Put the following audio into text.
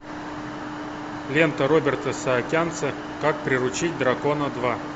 лента роберта саакянца как приручить дракона два